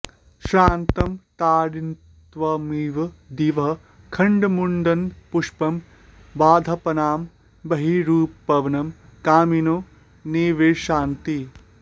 श्रान्तं तारान्वितमिव दिवः खण्डमुद्दण्डपुष्पं बद्धापानां बहिरुपवनं कामिनो निर्विशन्ति